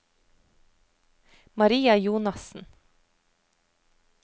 Maria Jonassen